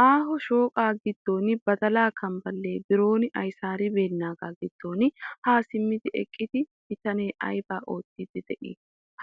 Aaho shooqaa giddon badalaa kambballe biron ayisaaribeennaagaa giddon haa simmidi eqqida bitanee ayibaa odiiddi de'ii?